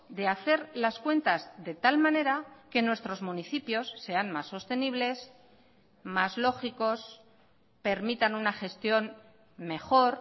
de hacer las cuentas de tal manera que nuestros municipios sean más sostenibles más lógicos permitan una gestión mejor